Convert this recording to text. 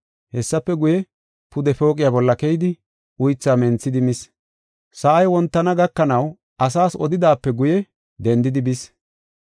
Hessafe guye, pude pooqiya bolla keyidi uythaa menthidi mis. Sa7ay wontana gakanaw asaas odidaape guye dendidi bis.